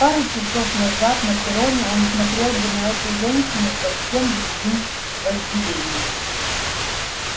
пару часов назад на перроне он смотрел бы на эту женщину совсем другим вожделением